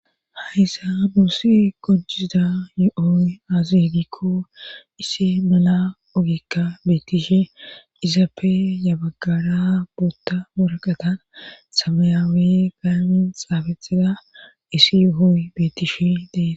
Haysa duussi gojisida yo7ooy aazedikko issi mala ogekka beettishe izappe yabaggara buotta moraqatan samayaawe gaamin xaafetida isi hooy betishe dees.